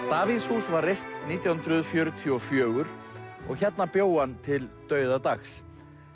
Davíðshús var reist nítján hundruð fjörutíu og fjögur og hérna bjó hann til dauðadags